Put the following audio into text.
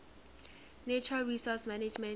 natural resource management